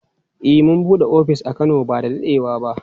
Eh mun bude ofis a Kano ba da dadewa ba.